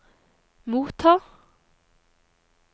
motta